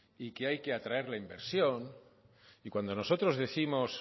y que hay que atraer la inversión y cuando nosotros décimos